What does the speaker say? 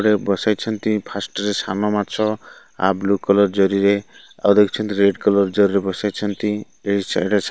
ରେ ବସେଇଛନ୍ତି ଫାଷ୍ଟ୍ ରେ ସାନ ମାଛ ଆ ବ୍ଲୁ କଲର୍ ଜରିରେ ଆଉ ଦେଖୁଛନ୍ତି ରେଡ୍ କଲର୍ ଜରିରେ ବସାଇଛନ୍ତି ଏଇ ଚାରିଟା ଛା --